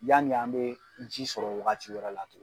Yani an bɛ ji sɔrɔ wagati wɛrɛ la tuguni.